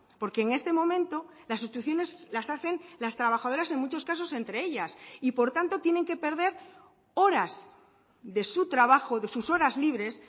porque en este momento las sustituciones las hacen las trabajadoras en muchos casos entre ellas y por tanto tienen que perder horas de su trabajo de sus horas libres